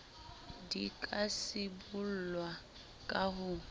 di ka sibollwa ka ho